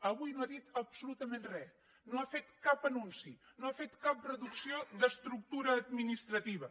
avui no ha dit absolutament res no ha fet cap anunci no ha fet cap reducció d’estructura administrativa